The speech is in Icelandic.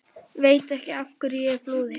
Veit ekki af hverju ég flúði.